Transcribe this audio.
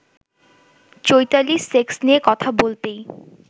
Chaitali sex নিয়ে কথা বলতেই